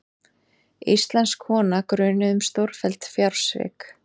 Íslensk kona grunuð um stórfelld fjársvik